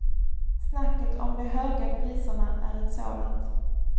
Snacket om de höga priserna är ett sådant.